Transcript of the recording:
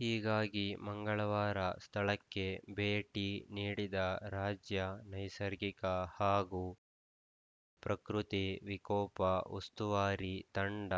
ಹೀಗಾಗಿ ಮಂಗಳವಾರ ಸ್ಥಳಕ್ಕೆ ಭೇಟಿ ನೀಡಿದ ರಾಜ್ಯ ನೈಸರ್ಗಿಕ ಹಾಗೂ ಪ್ರಕೃತಿ ವಿಕೋಪ ಉಸ್ತುವಾರಿ ತಂಡ